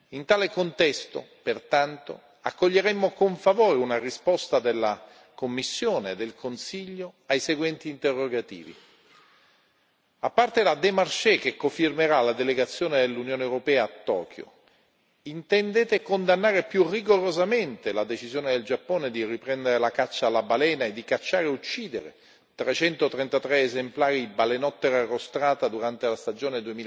In tale contesto, pertanto, accoglieremmo con favore una risposta della Commissione e del Consiglio ai seguenti interrogativi a parte la démarche che cofirmerà la delegazione dell'Unione europea a Tokyo, intendete condannare più rigorosamente la decisione del Giappone di riprendere la caccia alla balena e di cacciare e uccidere 333 esemplari di balenottera rostrata durante la stagione